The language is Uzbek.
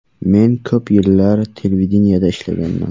Men ko‘p yillar televideniyeda ishlaganman.